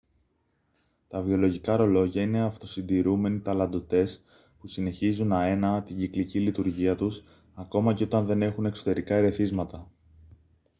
τα βιολογικά ρολόγια είναι αυτοσυντηρούμενοι ταλαντωτές που συνεχίζουν αέναα την κυκλική λειτουργία τους ακόμα και όταν δεν έχουν εξωτερικά ερεθίσματα